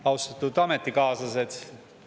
Austatud ametikaaslased!